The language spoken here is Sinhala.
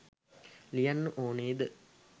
ලියන්න ඕනේ දේ